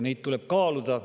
Neid tuleb kaaluda.